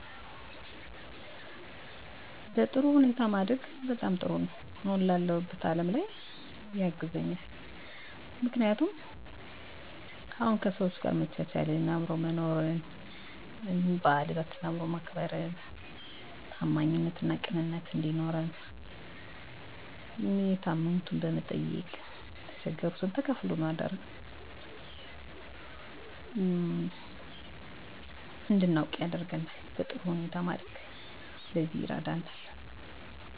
በጣም በጥሩ ሁኔታ ማደጌ አሁን ላለሁበት አለም ጥሩ አመለካከት እንዲኖረኝ አግዞኛል በጥሩ ሁኔታ ማደግ የጠቅማል ምክንያቱም ታላቅን ማክበር እንዳለብን ቅንነትና ታማኝነት እንዲኖረን በአካባቢያችን ያሉ የተቸገሩ ሰዎችን መርዳት በህይወታችን የሚመጡ ፈተናዎችን ተቋቁሞ ማለፍ ን በቤተሰብ ውስጥ መቻቻልና መተጋገዝ እንዳለብን የተጣሉ ሰዎችን ማስታረቅ ያለንን ተካፍሎ መብላት እንዳለብን እንዲሁም ደስታን ያንዱን ደስታ መካፈል እንዳለብን የታመመ መጠየቅን በእምነታችን መፅናት እንዳለብን